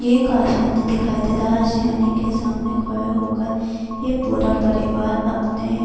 یہ ایک آشیانے دکھایی دے رہا ہے، آشیانے ک سامنے کھڈے ہوکرپورا پریواراپنے-